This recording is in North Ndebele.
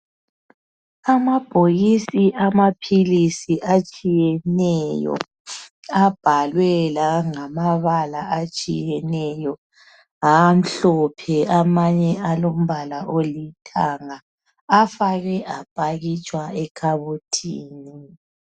Amabhokisi amaphilisi atshiyeneyo abhaliwe langabala atshiyeneyo amhlophe amanye alombala olithanga afakwe apakitshwa ekhabothini